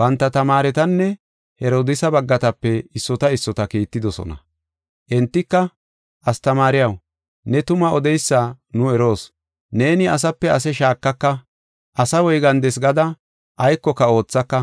Banta tamaaretanne Herodiisa baggatape issota issota kiittidosona. Entika, “Astamaariyaw, ne tuma odeysa nu eroos. Neeni asape ase shaakaka, asa woygandes gada aykoka oothaka,